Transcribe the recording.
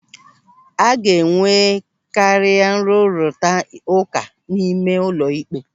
A ga-enwekari nrụrita ụka n'ime ụlọikpe.